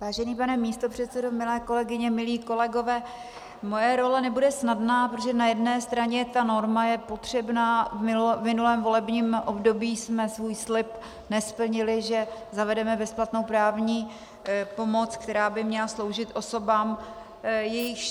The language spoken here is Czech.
Vážený pane místopředsedo, milé kolegyně, milí kolegové, moje role nebude snadná, protože na jedné straně ta norma je potřebná, v minulém volebním období jsme svůj slib nesplnili, že zavedeme bezplatnou právní pomoc, která by měla sloužit osobám, jejichž...